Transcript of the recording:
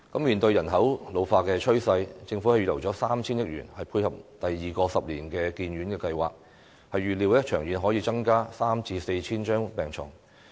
面對人口老化的趨勢，政府預留 3,000 億元，以配合第二個十年醫院發展計劃，預料長遠可增加 3,000 至 4,000 張病床。